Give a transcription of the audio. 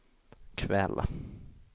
kväll